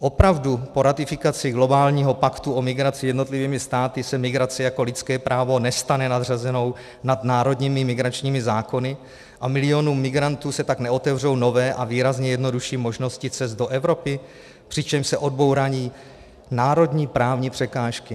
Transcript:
Opravdu po ratifikaci globálního paktu o migraci jednotlivými státy se migrace jako lidské právo nestane nadřazenou nad národními migračními zákony a milionům migrantů se tak neotevřou nové a výrazně jednodušší možnosti cest do Evropy, přičemž se odbourají národní právní překážky?